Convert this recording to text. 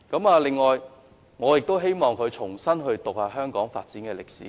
此外，我希望鄭議員重新閱讀香港的發展歷史。